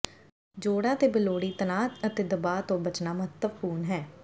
ਜੋੜਾਂ ਤੇ ਬੇਲੋੜੀ ਤਣਾਅ ਅਤੇ ਦਬਾਅ ਤੋਂ ਬਚਣਾ ਮਹੱਤਵਪੂਰਨ ਹੈ